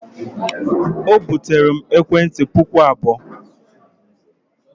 O buteere m ekwentị puku abụọ.